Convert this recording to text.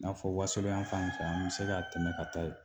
N'a fɔ wasolo yan fan in fɛ an bɛ se ka tɛmɛ ka taa yen